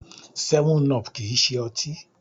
7up kìí ṣe ọtí.